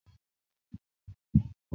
Tábìlì àárín rẹ ti fọ́